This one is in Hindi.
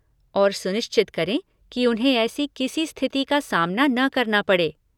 और, सुनिश्चित करें कि उन्हें ऐसी किसी स्थिति का सामना न करना पड़े।